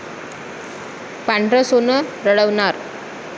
पांढरं सोनं रडवणार!